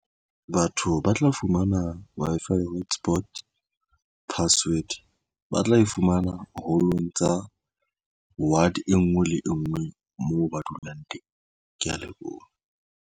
Batho ba tla fumana Wi-Fi hotspot password ba tla e fumana hall-ong tsa ward e ngwe le engwe moo ba dulang teng. Ke ya leboha.